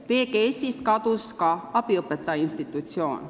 PGS-ist kadus ka abiõpetaja institutsioon.